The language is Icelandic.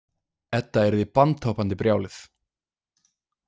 Edda yrði bandhoppandi brjáluð.